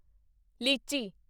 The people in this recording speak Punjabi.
ਲੀਚੀ